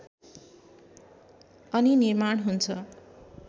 अनि निर्माण हुन्छ